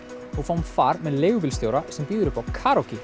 og fáum far með leigubílstjóra sem býður upp á